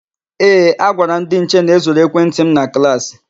Ee, agwara m ndị nche na e zuru ekwentị m na klaasị.